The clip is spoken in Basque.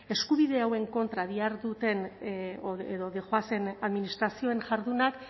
eskubide hauen kontra diharduten edo doazen administrazioen jardunak